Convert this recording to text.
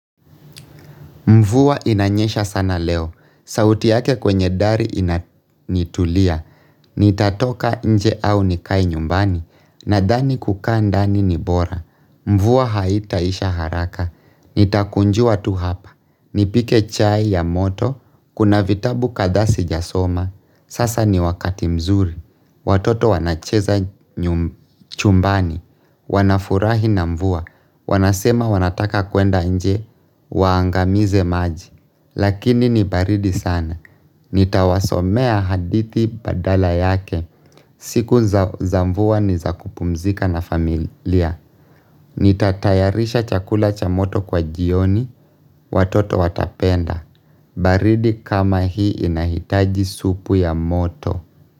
Mvua inanyesha sana leo. Sauti yake kwenye dari inatulia. Nitatoka nje au nikae nyumbani. Nadhani kukaa ndani ni bora. Mvua haitaisha haraka. Nitakunjua tu hapa. Nipike chai ya moto. Kuna vitabu kadhaa sijasoma. Sasa ni wakati mzuri. Watoto wanacheza chumbani. Wanafurahi na mvuwa. Wanasema wanataka kuenda nje, waangamize maji Lakini ni baridi sana Nitawasomea hadithi badala yake siku za mvua ni za kupumzika na familia Nitatayarisha chakula cha moto kwa jioni Watoto watapenda baridi kama hii inahitaji supu ya moto.